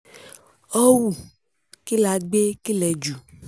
họ́wù kí la gbé kí lẹ jù